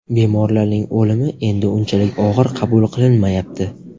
Bemorlarning o‘limi endi unchalik og‘ir qabul qilinmayapti.